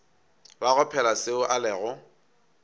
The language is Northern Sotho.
bago phela seo a lego